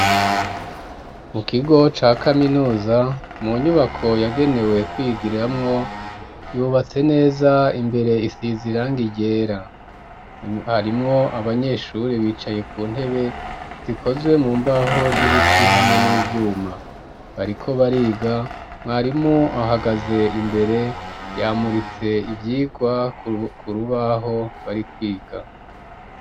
Mu kigo ca kaminuza mu nyubako yagenewe kwigiramwo yubatse neza imbere isize irangi ryera harimwo abanyeshuri bicaye ku ntebe zikozwe mu mbaho z'ibiti hamwe n'ivyuma bariko bariga mwarimu ahagaze imbere yamuritse ivyigwa ku rubaho bari kwiga.